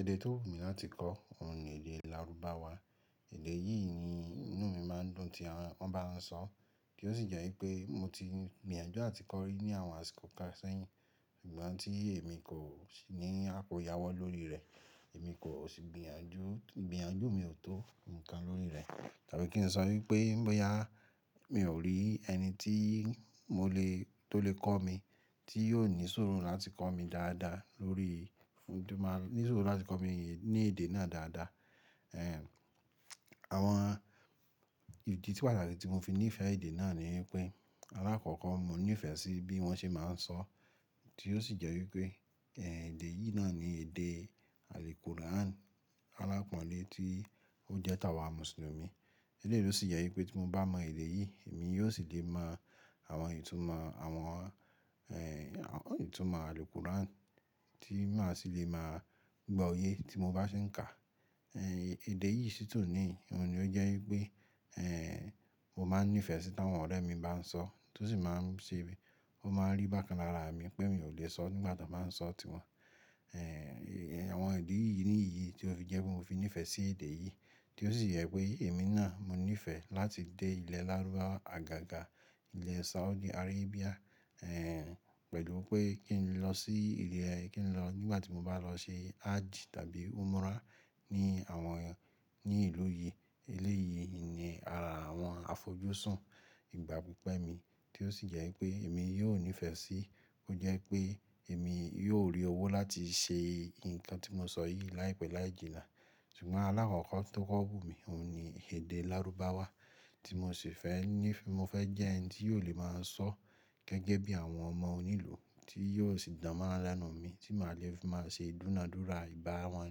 Èdè tó wù mí láti kọ́, òun ni èdè lárúbáwá. Èdè yìí ni inú mi máa ń dùn tí wọ́n bá ń sọ, ti ó sì jẹ́ wipé mo ti gbìyànjú àti kọ́ rí ní àwọn àsìkò kan sẹ́yìn. Sugbon tí èmi kò ní àkóyawọ́ lórí rẹ̀, èmi kò sì gbìyànjú, ìgbìyànjú mi ò tó nǹkan lórí rẹ̀. Tabí kí n sọ wípé bóyá mi ò rí ẹni tí mo lè tó lè kọ́ mi, tí yóò ní sùúrù láti kọ́ mi dáadáa lórí ìdùn moni ní sùúrù láti kọ́ mi ní èdè náà dáadáa. Àwọn ìdí to wà lárá idi tí mo fi nífẹ̀ẹ́ èdè náà ni wipé alákọ̀ọ́kọ́ mo nífẹ̀ẹ́ sí bí wọ́n ṣe máa ń sọ, tí ó sì jẹ́ wípé, èdè yìí náà ni èdè àlùkùrán alápọ́nlé tí ó jẹ́ táwà mùsùlùmí. Eleyìí ló sì jẹ́ wípé tí mo bá mọ èdè yìí, èmi yóò sì lè mọ àwọn ìtumọ̀ àwọn, àwọn ìtumọ̀ àlùkùrán tí màá sì lè máa gbọ́ oyé tí mo bá ṣe ń kà. Èdè yìí sì tun ní, òun ni ó jẹ́ wípé, mo máa n nífẹ̀ẹ́ sí táwọn ọ̀rẹ́ mi bá ń sọ, tí ó sì máa ń ṣe bí, ó máa ń rí bákan lára mi pé mi ò lè sọ nígbà tí wọ́n bá ń sọ ọ́ tiwọn. Àwọn ìdí yìí nìyí tí ó fi jẹ́ pé mo fi nífẹ̀ẹ́ sí èdè yìí, tí ó sì yẹ pé èmi náà mo nífẹ̀ẹ́ láti dé ilẹ̀ lárúbáwa àgàgà ilẹ̀ Saudi Arabia, pẹ̀lú pé kí n lọ sí ilẹ̀, kí n lọ nígbà tí mo bá lọ ṣe hajj tàbí umrah ní àwọn ní ìlú yìí. Eléyìí ni ara àwọn àfojúsùn ìgbà pípẹ́ mi, tí ó sì jẹ́ wípé èmi yóò nífẹ̀ẹ́ sí, kó jẹ́ pé èmi yóò rí owó láti ṣe nǹkan tí mo sọ yìí láìpẹ́ láì jìnnà. Ṣùgbọ́n alákọ̀ọ́kọ́ tó kọ́ wù mí, òun ni èdè lárúbáwá tí mo sì fẹ́ ní, mo fẹ́ jẹ́ ẹni tí yóò lè máa sọ gẹ́gẹ́ bí àwọn ọmọ onílùú tí yóò sì dánmonran lẹ́nu mi tí màá le fi máa ṣe ìdúnadúrà, ìbá wọn,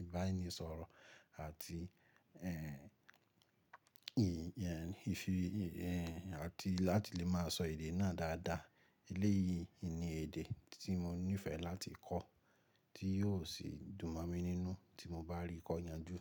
ìbára ẹni sọ̀rọ̀ àti, ìyẹn, ìfi, àti láti lè máa sọ èdè náà dáadáa. Eléyìí ni èdè tí mo nífẹ̀ẹ́ láti kọ́, tí yóò sì dùn mọ̀ mi nínú tí mo bá rí kọ́ yanjú.